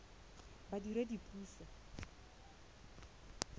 badiredipuso